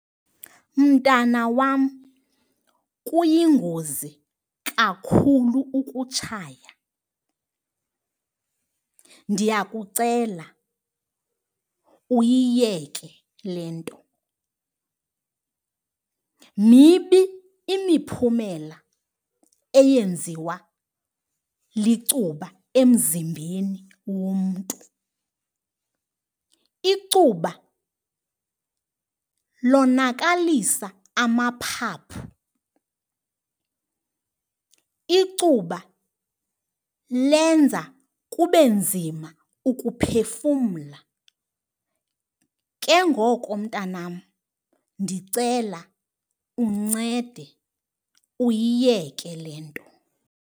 Mntana wam, kuyingozi kakhulu ukutshaya ndiyakucela uyiyeke le nto. Mibi imiphumela eyenziwa licuba emzimbeni womntu. Icuba lonakalisa amaphaphu, icuba lenza kube nzima ukuphefumla, ke ngoko mntanam ndicela uncede uyiyeke le nto.